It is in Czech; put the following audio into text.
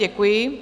Děkuji.